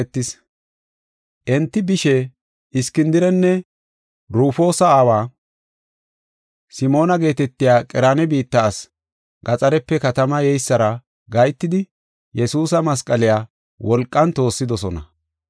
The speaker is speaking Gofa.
Enti bishe, Iskindirenne Rufoosa aawa, Simoona geetetiya Qereena biitta asi, gaxarepe katama yeysara gahetidi, Yesuusa masqaliya wolqan toossidosona.